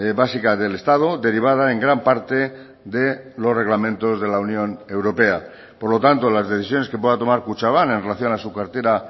básica del estado derivada en gran parte de los reglamentos de la unión europea por lo tanto las decisiones que pueda tomar kutxabank en relación a su cartera